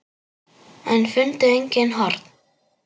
En fundu engin horn.